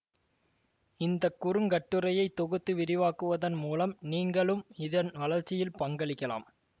இந்த குறுங்கட்டுரையை தொகுத்து விரிவாக்குவதன் மூலம் நீங்களும் இதன் வளர்ச்சியில் பங்களிக்கலாம்